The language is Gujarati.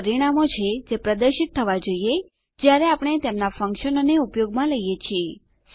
આ પરિણામો છે જે પ્રદર્શિત થવા જોઈએ જયારે આપણે તેમનાં ફંકશનોને ઉપયોગમાં લઈએ છીએ